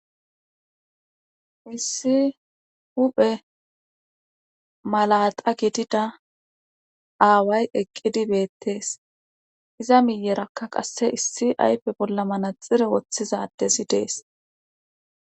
issi huphe malaxa gidida aaway eqqidi beettees iza miyerakka qasse issi ayppe bolla manaxire woththizadezi dees